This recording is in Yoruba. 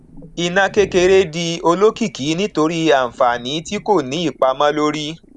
iná kékeré di olókìkí nítorí àǹfààní tí kò ní ìpamó lórí